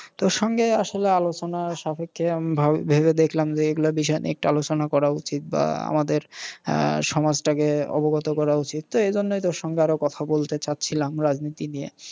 তোর সঙ্গে আসলে আলোচনার সাপেক্ষে আমি ভেবে দেখলাম যে এগুলা বিষয় নিয়ে একটু আলোচনা করা উচিত বা আমাদের আহ সমাজটাকে অবগত করা উচিত। তো এইজন্যেই তোর সঙ্গে আরও কথা বলতে চাচ্ছিলাম রাজনীতি নিয়ে।